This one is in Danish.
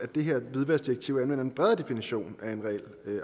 det her hvidvaskdirektiv anvendes en bredere definition af en reel